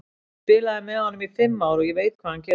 Ég spilaði með honum í fimm ár, ég veit hvað hann getur.